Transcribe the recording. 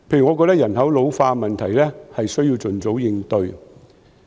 我覺得人口老化的問題需要盡早應對。